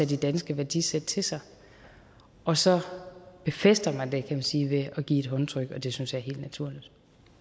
de danske værdisæt til sig og så befæster man det kan man sige ved at give et håndtryk og det synes jeg er helt naturligt